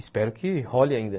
Espero que role ainda.